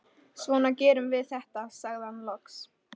Svona gerum við þetta, sagði hann loks.